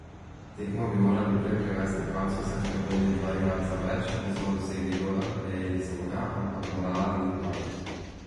Tekmo bi morali prej privesti h koncu, saj smo imeli dva igralca več, nismo dosegli gola, prejeli smo ga, ampak morala nam ni padla.